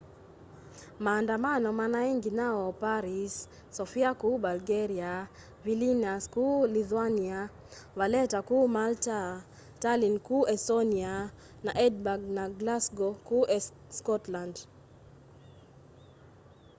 maandamano manai nginya o paris sofia kuu bulgaria vilnius kuu lithuania valetta kuu malta tallinn kuu estonia na edinburgh na glasgow kuu scotland